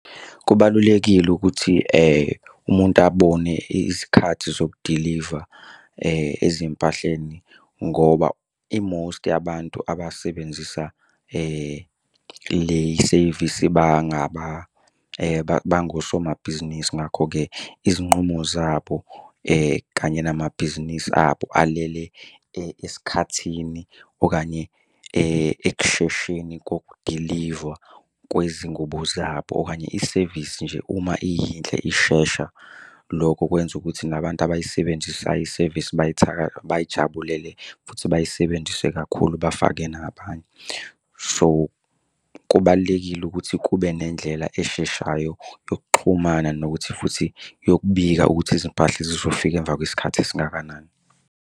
Kubalulekile ukuthi umuntu abone izikhathi zokudiliva ezimpahleni ngoba i-most yabantu abasebenzisa le i-service bangaba bangosomabhizinisi. Ngakho-ke izinqumo zabo kanye namabhizinisi abo alele esikhathini okanye ekushesheni kokudilivwa kwezingubo zabo. Okanye isevisi nje uma iyinhle ishesha, lokho kwenza ukuthi nabantu abayisebenzisayo isevisi bayijabulele, futhi bayisebenzise kakhulu bafake nabanye. So, kubalulekile ukuthi kube nendlela esheshayo yokuxhumana nokuthi futhi yokubika ukuthi izimpahla zizofika emva kwesikhathi esingakanani.